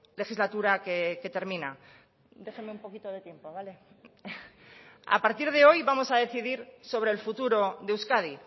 legislatura que termina déjeme un poquito de tiempo vale a partir de hoy vamos a decidir sobre el futuro de euskadi